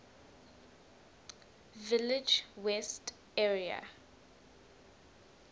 village west area